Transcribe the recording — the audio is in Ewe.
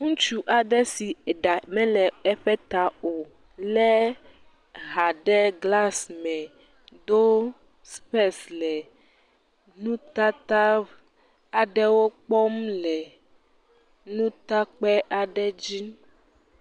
Ŋutsu aɖe si eɖa mele eƒe ta o lé aha ɖe glasi me do spece le nutata aɖewo kpɔm le nutakpe aɖe dzi.